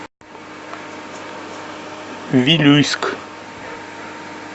вилюйск